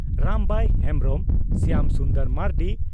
Rambai Hembrom Shyam Sundar Marandi